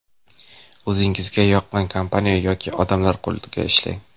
O‘zingizga yoqqan kompaniya yoki odamlar qo‘lida ishlang.